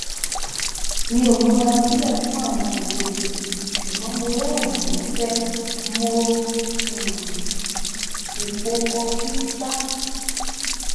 mi o mura silẹ fun awọn alejo sugbọn mo rẹrinin musẹ mo um si po kọfi ṣa